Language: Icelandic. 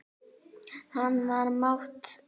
Hann var mát.